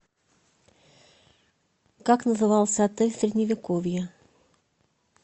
как назывался отель в средневековье